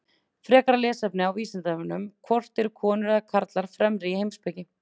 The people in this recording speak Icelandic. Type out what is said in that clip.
Frekara lesefni á Vísindavefnum: Hvort eru konur eða karlar fremri í heimspeki?